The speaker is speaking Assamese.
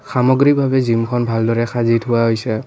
সামগ্ৰীভাৱে জিমখন ভালদৰে দেখা হোৱা হৈছে।